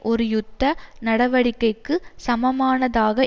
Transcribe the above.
ஒரு யுத்த நடவடிக்கைக்கு சமமானதாக